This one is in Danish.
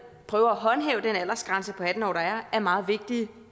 prøver at håndhæve den aldersgrænse på atten år der er er meget vigtige